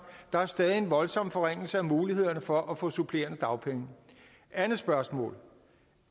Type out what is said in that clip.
der er stadig en voldsom forringelse af mulighederne for at få supplerende dagpenge andet spørgsmål